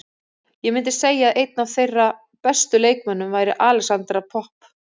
Ég myndi segja að einn af þeirra bestu leikmönnum væri Alexandra Popp.